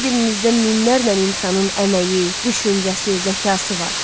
Hər birinizdə minlərlə insanın əməyi, düşüncəsi, zəkası var.